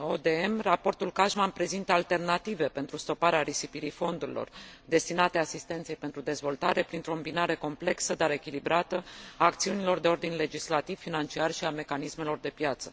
ODM, raportul Cashman prezintă alternative pentru stoparea risipirii fondurilor destinate asistenței pentru dezvoltare, printr o îmbinare complexă, dar echilibrată, a acțiunilor de ordin legislativ, financiar și a mecanismelor de piață.